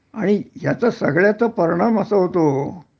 आणि ह्याचा सगळ्याचा परिणाम असा होतो